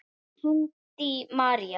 Þín, Haddý María.